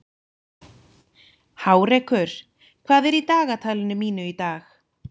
Hárekur, hvað er í dagatalinu mínu í dag?